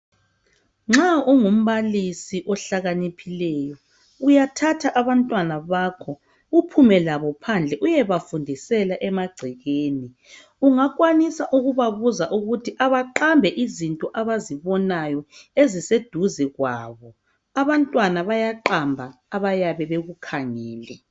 Nxa ungu mbalisi uhlakaniphile uyathatha abantwana bakho, uphume labo phandle uyebafundisela emagcekeni, uyakwanisa ukuthi beqambe izinto abazibonayo eziseduze labo, abantwana bayaqamba abayabe bekukhangele.